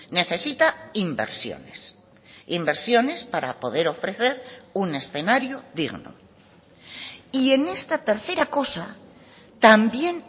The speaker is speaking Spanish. necesita inversiones inversiones para poder ofrecer un escenario digno y en esta tercera cosa también